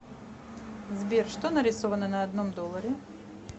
сбер что нарисовано на одном долларе